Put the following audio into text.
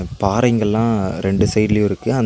பாறைங்கள்லா ரெண்டு சைட் லயு இருக்கு அந் --